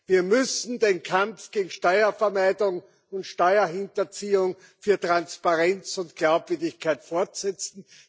Wir müssen den Kampf gegen Steuervermeidung und Steuerhinterziehung, für Transparenz und Glaubwürdigkeit fortsetzen.